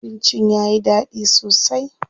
Abincin yayi daɗi sosai.